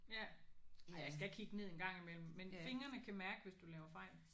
Ja. Ej jeg skal kigge ned engang imellem men fingrene kan mærke hvis du laver fejl